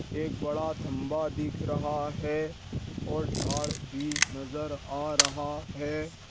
एक बड़ा थंबा दिख रहा है और झाड़ भी नजर आ रहा है।